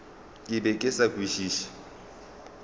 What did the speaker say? ke be ke sa kwešiše